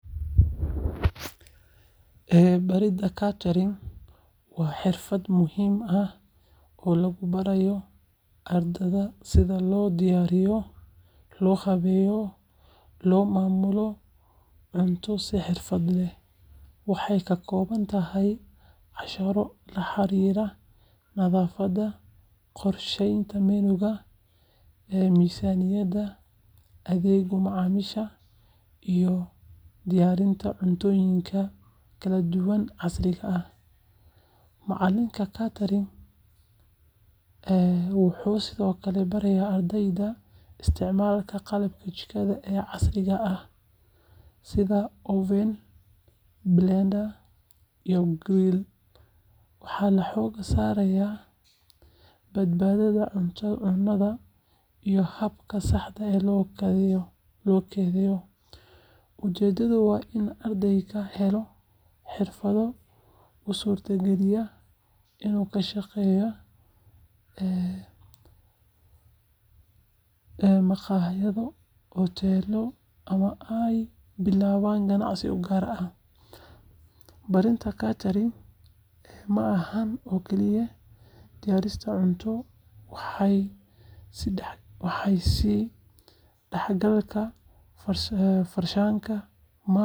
Baridda catering waa xirfad muhiim ah oo lagu baro ardayda sida loo diyaariyo, loo habeeyo, loona maamulo cunto si xirfad leh. Waxay ka kooban tahay casharro la xiriira nadaafadda, qorsheynta menu-ga, miisaaniyadda, adeegga macaamiisha, iyo diyaarinta cuntooyinka kala duwan ee casriga ah. Macallinka catering wuxuu sidoo kale barayaa ardayda isticmaalka qalabka jikada ee casriga ah sida oven, blender, iyo grill. Waxaa la xoogga saaraa badbaadada cunnada iyo habka saxda ah ee kaydinta. Ujeeddadu waa in ardaydu helaan xirfado u suurtagelin kara inay ka shaqeeyaan maqaayado, hoteello, ama ay bilaabaan ganacsi u gaar ah. Baridda catering ma ahan oo kaliya diyaarinta cunto, waa is-dhexgalka farshaxanka, maamulka, iyo adeegga bulshada.